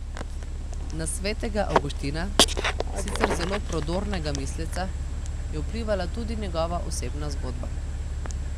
Na svetega Avguština, sicer zelo prodornega misleca, je vplivala tudi njegova osebna zgodba.